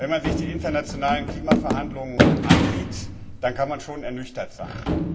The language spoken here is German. Wenn man sich die internationalen Klimaverhandlungen ansieht, dann kann man schon ernüchtert sein.